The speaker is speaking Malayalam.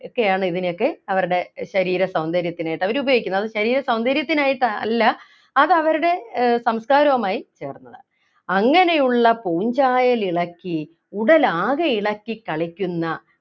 ഒക്കെയാണ് ഇതിനൊക്കെ അവരുടെ ശരീര സൗന്ദര്യത്തിനായിട്ടവര് ഉപയോഗിക്കുന്നത് അത് ശരീര സൗന്ദര്യമായിട്ടല്ല അത് അവരുടെ ആഹ് സംസ്കാരവുമായി ചേർന്നതാണ് അങ്ങനെയുള്ള പൂഞ്ചായൽ ഇളക്കി ഉടലാകെ ഇളക്കി കളിക്കുന്ന